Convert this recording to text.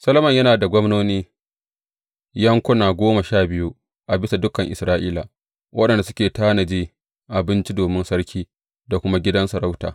Solomon yana da gwamnoni yankuna goma sha biyu a bisa dukan Isra’ila, waɗanda suke tanaji abinci domin sarki da kuma gidan sarauta.